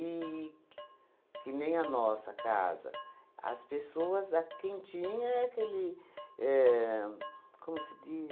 que nem a nossa casa, as pessoas, a quem tinha é aquele éh... Como se diz?